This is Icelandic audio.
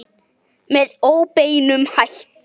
Með óbeinum hætti.